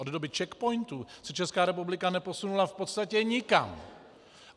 Od doby CzechPOINTů se Česká republika neposunula v podstatě nikam.